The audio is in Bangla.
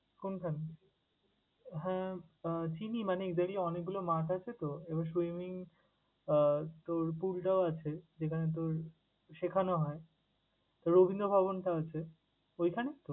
কোন খানে? হ্যাঁ! আহ চিনি মানে এদেরই অনেকগুলো মাঠ আছে তো, এবার swimming আহ তোর pool টাও আছে, যেখানে তোর শেখানো হয়, রবীন্দ্র ভবনটা আছে। ওইখানে তো?